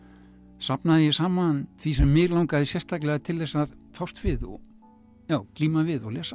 safnaði ég saman því sem mig langaði sérstaklega til þess að fást við og glíma við og lesa